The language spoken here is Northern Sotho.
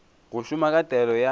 go šoma ka taolo ya